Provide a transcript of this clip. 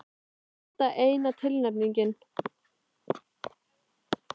Var þetta eina tilnefningin?